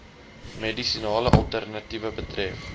medisinale alternatiewe betref